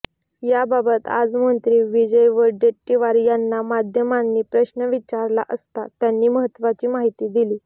याबाबत आज मंत्री विजय वडेट्टीवार यांना माध्यमांनी प्रश्न विचारला असता त्यांनी महत्त्वाची माहिती दिली